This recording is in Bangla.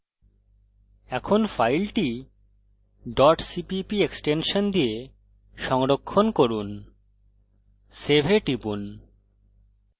এখন file cpp এক্সটেনশন দিয়ে সংরক্ষণ করুন এবং save এ টিপুন